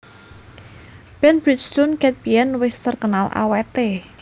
Ban Bridgestone ket biyen wes terkenal awet e